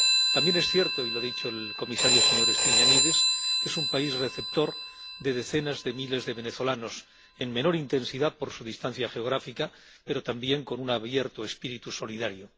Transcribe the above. También es cierto —y lo ha dicho el comisario, señor Stylianides— que es un país receptor de decenas de miles de venezolanos, en menor intensidad por su distancia geográfica, pero también con un abierto espíritu solidario.